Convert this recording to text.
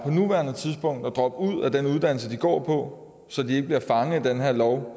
nuværende tidspunkt overvejer at droppe ud af den uddannelse de går på så de ikke bliver fanget af den her lov